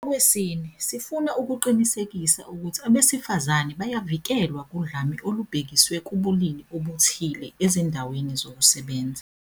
Okwesine, sifuna ukuqinisekisa ukuthi abesifazane bayavikelwa kudlame olubhekiswe kubulili obuthile ezindaweni zokusebenza.